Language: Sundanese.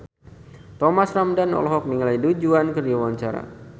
Thomas Ramdhan olohok ningali Du Juan keur diwawancara